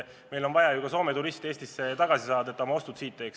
Meil on vaja ju Soome turistid Eestisse tagasi saada, et nad oma ostud siin teeks.